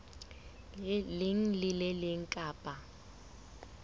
leng le le leng kapa